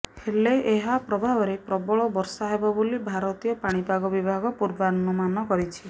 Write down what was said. ହେଲେ ଏହା ପ୍ରଭାବରେ ପ୍ରବଳ ବର୍ଷା ହେବ ବୋଲି ଭାରତୀୟ ପାଣିପାଗ ବିଭାଗ ପୂର୍ବାନୁମାନ କରିଛି